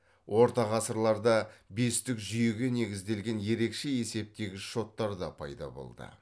орта ғасырларда бестік жүйеге негізделген ерекше есептегіш шоттар да пайда болды